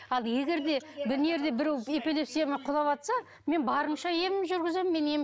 ал егер де біреу эпилепсиямен құлаватса мен барымша емімді жүргіземін